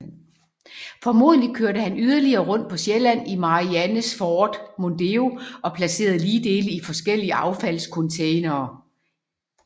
Formodentlig kørte han yderligere rundt på Sjælland i Mariannes Ford Mondeo og placerede ligdele i forskellige affaldscontainere